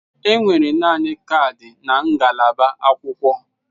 Enwere naanị kaadị na ngalaba akwụkwọ.